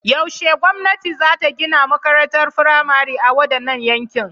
Yaushe gwamnati za ta gina makarantar firamare a wadannan yankin?